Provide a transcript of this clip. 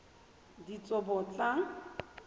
ditsobotla